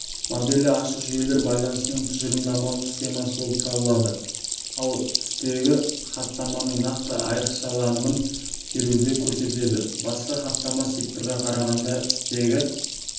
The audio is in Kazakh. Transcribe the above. моделі ашық жүйелер байланысының тұжырымдамалық схемасы болып табылады ал стегі хаттаманың нақты айрықшаланымын теруді көрсетеді басқа хаттама секторға қарағанда стегі